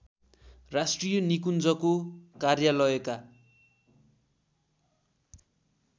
राष्ट्रिय निकुञ्जको कार्यलयका